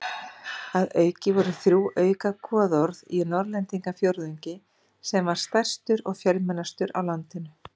Að auki voru þrjú auka goðorð í Norðlendingafjórðungi sem var stærstur og fjölmennastur á landinu.